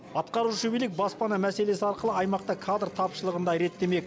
атқарушы билік баспана мәселесі арқылы аймақта кадр тапшылығын да реттемек